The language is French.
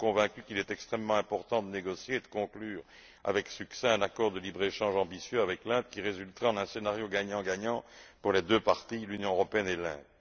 Nous sommes convaincus qu'il est extrêmement important de négocier et de conclure avec succès un accord de libre échange ambitieux avec l'Inde qui résultera en un scénario gagnant gagnant pour les deux parties, l'Union européenne et l'Inde.